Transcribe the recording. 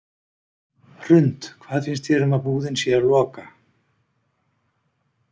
Hrund: Hvað finnst þér um að búðin sé að loka?